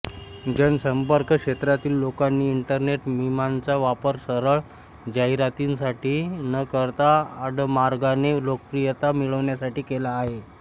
जनसंपर्क क्षेत्रातील लोकांनी इंटरनेट मिमांचा वापर सरळ जाहिरातींसाठी न करता आडमार्गाने लोकप्रियता मिळवण्यासाठी केला आहे